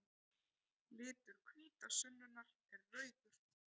Litur hvítasunnunnar er rauður.